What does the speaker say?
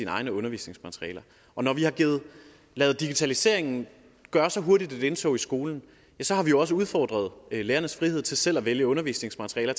egne undervisningsmaterialer når vi har ladet digitaliseringen gøre så hurtigt et indtog i skolerne har vi jo også udfordret lærernes frihed til selv at vælge undervisningsmaterialer